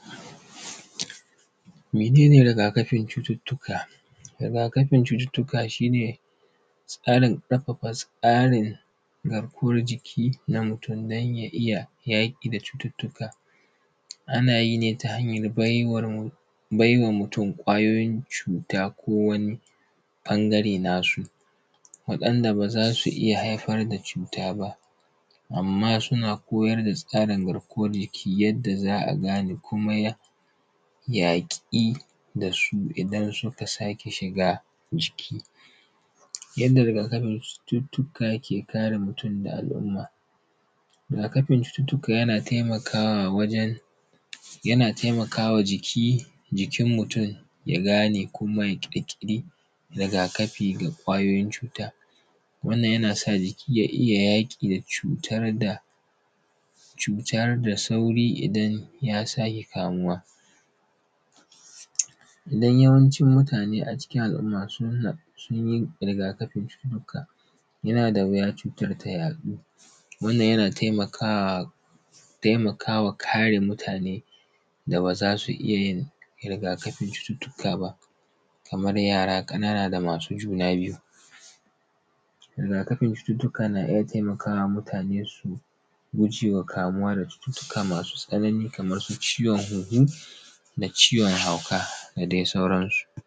mene ne riga kafin cututtuka riga kafin cututtuka shi ne tsarin garkuwar jiki na mutum don ya iya yaƙi da riga kafin cututtuka ana yi ne ta hanyar bai wa mutum ƙwayoyin cuta ko wani ɓangare nasu waɗanda ba za su iya haifar da cuta ba amma suna koyar da tsarin garkuwar jiki yadda za a gane komai yaƙi da su idan suka sake shiga jiki yadda riga kafin cututtuka ke kare mutum da al’umma riga kafin cututtuka yana taimakawa wajen yana taimaka wa jiki jikin mutum ya gane kuma ya ƙirƙiri riga kafi ga ƙwayoyin ʧuta wannan yana sa jiki ya iya yaƙi da cutar da cutar da sauri idan ya sake kamuwa idan yawancin mutane a cikin al’umma sun yi riga kafin cututtuka yana da wuya cutar ta yaɗu wannan yana taimakawa taimaka wa kare mutane da ba za su iya yin riga kafin cututtuka ba kamar yara ƙanana da masu juna biyu riga kafin cututtuka na iya taimaka wa mutane su su guje wa kamuwa da cututtuka masu tsanani kamar su ciwon huhu da ciwon hauka da dai sauransu